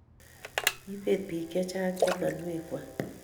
kiibet biik che chang' chamanwek kwak